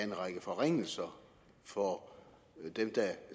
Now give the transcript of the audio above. er en række forringelser for dem der